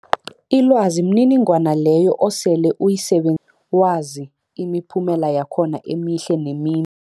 Ilwazi mniningwana leyo osele uyiseben wazi imiphumela yakhona emihle nemi